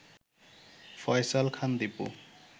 Faisal Khan Dipu